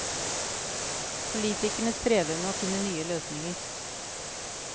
Politikerne strever med å finne nye løsninger.